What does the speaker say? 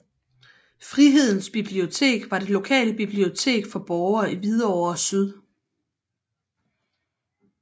Frihedens Bibliotek var det lokale bibliotek for borgere i Hvidovre Syd